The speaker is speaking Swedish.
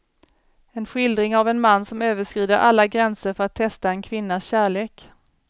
En skildring av en man som överskrider alla gränser för att testa en kvinnas kärlek.